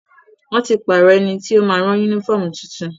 Wọ́n ti pàrọ̀ ẹniti ó ma rán yúnífọ̀mù tuntun